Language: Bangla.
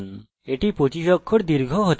আমাদের কাছে এখানে 25 অক্ষর দীর্ঘ হতে পারে